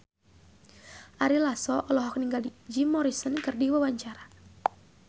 Ari Lasso olohok ningali Jim Morrison keur diwawancara